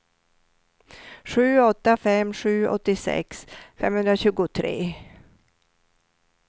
sju åtta fem sju åttiosex femhundratjugotre